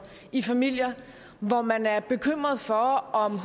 i familier hvor man er bekymret for om